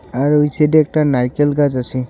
আর ওই সাইডে একটা নারকেল গাছ আছে .